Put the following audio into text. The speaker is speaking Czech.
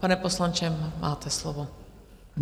Pane poslanče, máte slovo.